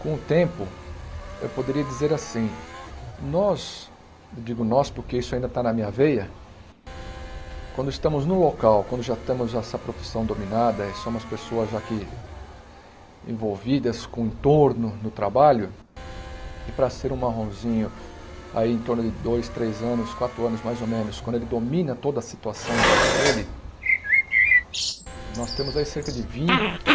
Com o tempo, eu poderia dizer assim, nós, eu digo nós porque isso ainda está na minha veia, quando estamos no local, quando já temos essa profissão dominada e somos pessoas já que envolvidas com o entorno no trabalho, e para ser um marronzinho aí em torno de dois, três anos, quatro anos mais ou menos, quando ele domina toda a situação em volta dele, nós temos aí cerca de vinte,